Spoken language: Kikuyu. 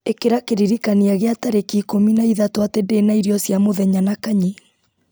ĩkĩra kĩririkania gĩa tarĩki ikũmi na ithatũ atĩ ndĩna irio cia mũthenya na kanyi